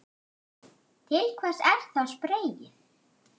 Til hvers er þá spreyið?